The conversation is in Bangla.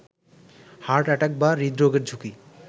হার্ট অ্যাটাক বা হৃদরোগের ঝুঁকি